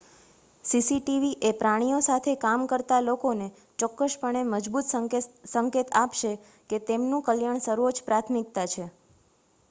"""CCTV એ પ્રાણીઓ સાથે કામ કરતા લોકોને ચોક્કસપણે મજબૂત સંકેત આપશે કે તેમનું કલ્યાણ સર્વોચ્ચ પ્રાથમિકતા છે.""